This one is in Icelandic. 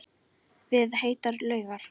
Við heitar laugar